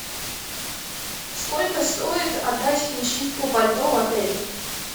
сколько стоит отдать в химчистку пальто в отеле